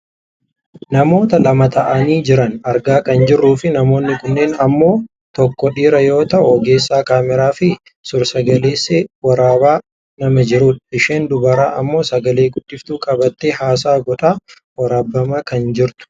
Namoota lama ta'anii jiran argaa kan jirruufi namoonni kunneen ammok tokko dhiira yoo ta'u ogeessa kaameraafi suursagalee waraabaa nama jirudha. Isheen dubaraa ammoo sagale guddiftuu qabattee haasaa godhaa waraabbamaa kan jirtudha.